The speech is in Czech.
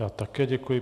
Já také děkuji.